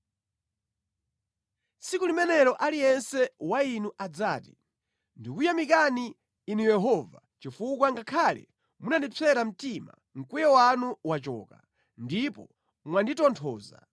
Tsiku limenelo aliyense wa inu adzati: “Ndikukuyamikani, Inu Yehova; chifukwa ngakhale munandipsera mtima, mkwiyo wanu wachoka, ndipo mwanditonthoza.